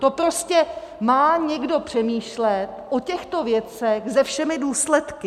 To prostě má někdo přemýšlet o těchto věcech se všemi důsledky!